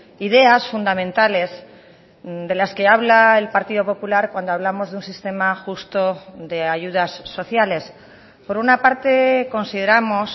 ideas fundamentales de las que habla el partido popular cuando hablamos de un sistema justo de ayudas sociales por una parte consideramos